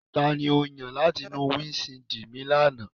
Tani o yan lati nu windṣiidi mi lana?